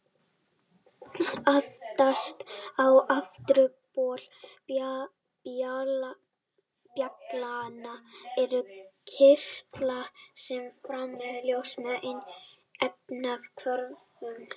Aftast á afturbol bjallanna eru kirtlar sem framleiða ljós með efnahvörfum.